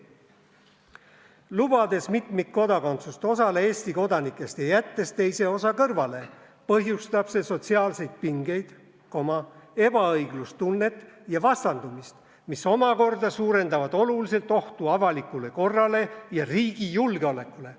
"Lubades mitmikkodakondsust osale Eesti kodanikest ja jättes teise osa kõrvale, põhjustab see sotsiaalseid pingeid, ebaõiglustunnet ja vastandumist, mis omakorda suurendavad oluliselt ohtu avalikule korrale ja riigi julgeolekule.